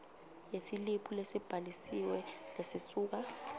yesiliphu lesibhalisiwe lesisuka